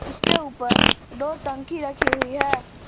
उसके ऊपर दो टंकी रखी हुई है।